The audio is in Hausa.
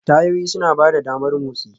Tayoyi suna ba da damar motsi.